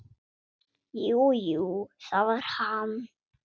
Jú, jú, það var hann.